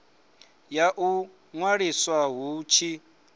ya u ṅwaliswa hu tshi